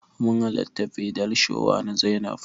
Mun hallarta bridal shower na Zainab.